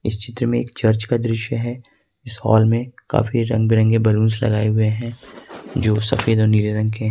इस चित्र में एक चर्च का दृश्य है इस हाल में काफी रंग बिरंगे बलूंस लगाए हुए हैं जो सफेद और नीले रंग के--